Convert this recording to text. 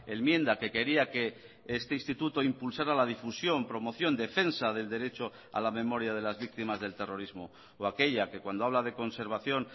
enmienda que quería que este instituto impulsará la difusión promoción defensa del derecho a la memoria de las víctimas del terrorismo o aquella que cuando habla de conservación